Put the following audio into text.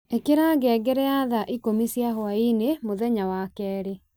ĩkĩra ngengere ya thaa ikũmi cia hwainĩ mũthenya wa kerĩ